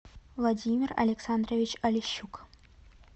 владимир александрович олещук